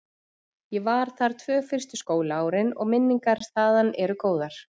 Ég var þar tvö fyrstu skólaárin og minningar þaðan eru góðar.